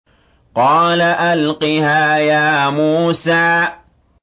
قَالَ أَلْقِهَا يَا مُوسَىٰ